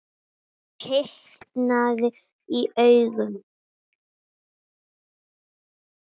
Og hitnaði í augum.